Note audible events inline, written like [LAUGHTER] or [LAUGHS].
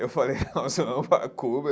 Eu falei, [LAUGHS] nós vamos para a Cuba.